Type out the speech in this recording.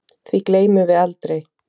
Því gleymum við aldrei.